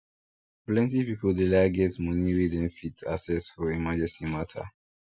plenty people dey like get money wey dem fit access for emergency matter